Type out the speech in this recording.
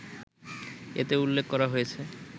এতে উল্লেখ করা হয়েছে